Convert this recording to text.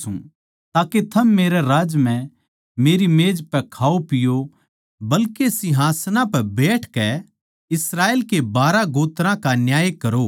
ताके थम मेरै राज्य म्ह मेरी मेज पै खाओपिओ बल्के सिंहासनां पै बैठकै इस्राएल के बारहां गोत्रां का न्याय करो